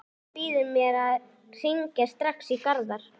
Skyldan býður mér að hringja strax í Garðar.